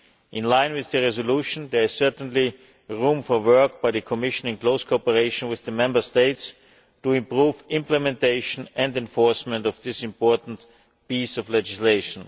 In line with the resolution there is certainly room for work by the Commission, in close cooperation with the Member States, to improve the implementation and enforcement of this important piece of legislation.